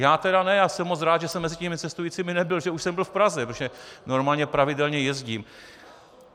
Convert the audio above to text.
Já tedy ne a jsem moc rád, že jsem mezi těmi cestujícími nebyl, že už jsem byl v Praze, protože normálně pravidelně jezdím.